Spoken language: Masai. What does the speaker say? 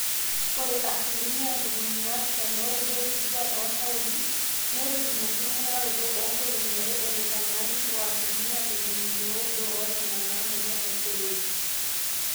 ore asilimia ntomoni naapishana ooudo oonkituaak oontaoni netum inaking'uraroto oonkolong'i are eneitanyanyuki o asilimia ntomoni ile ooudo oonena naamanya iseroi